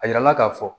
A yira an na k'a fɔ